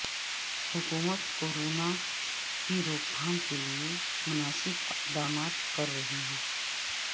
حکومت کورونا کی روک تھام کیلئے مناسب اقدامات کررہی ہے